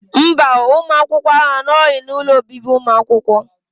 Mba, ụmụ akwụkwọ ahụ anọghị n'ụlọ obibi ụmụ akwụkwọ